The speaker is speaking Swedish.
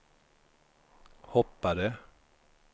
hoppade